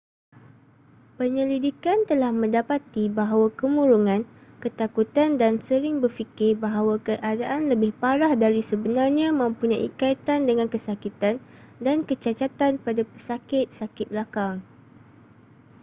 penyelidikan telah mendapati bahawa kemurungan ketakutan dan sering berfikir bahawa keadaan lebih parah dari sebenarnya mempunyai kaitan dengan kesakitan dan kecacatan pada pesakit sakit belakang